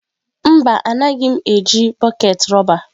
Mba, anaghị m eji bọket rọba.